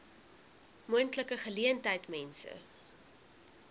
moontlike geleentheid mense